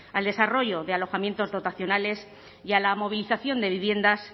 al desarrollo de alojamientos dotacionales y a la movilización de viviendas